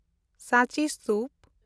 ᱥᱟᱸᱪᱤ ᱥᱛᱩᱯ